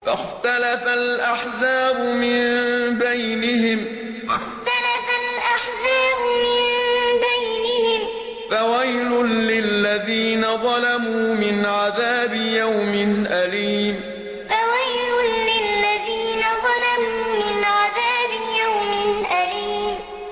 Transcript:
فَاخْتَلَفَ الْأَحْزَابُ مِن بَيْنِهِمْ ۖ فَوَيْلٌ لِّلَّذِينَ ظَلَمُوا مِنْ عَذَابِ يَوْمٍ أَلِيمٍ فَاخْتَلَفَ الْأَحْزَابُ مِن بَيْنِهِمْ ۖ فَوَيْلٌ لِّلَّذِينَ ظَلَمُوا مِنْ عَذَابِ يَوْمٍ أَلِيمٍ